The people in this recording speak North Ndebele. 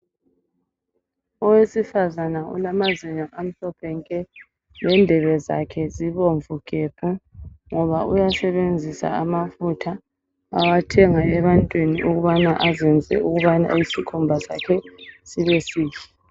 Owesifazana olamazinyo amhlophe nke lendebe zakhe zibomvu gebhu ngoba uyasebenzisa amafutha awathengwa ebantwini ukubana azenzise ukubana isikhumba sakhe sibe sihle.